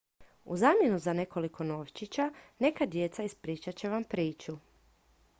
u zamjenu za nekoliko novčića neka djeca ispričat će vam priču